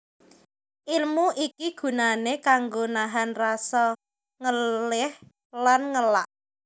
Ilmu iki gunané kanggo nahan rasa ngeléh lan ngelak